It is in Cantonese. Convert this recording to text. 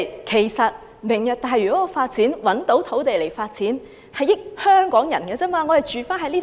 其實"明日大嶼"所提供的土地，只能令香港人受惠。